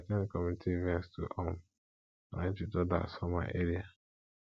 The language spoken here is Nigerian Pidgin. i dey at ten d community events to um connect with others for my area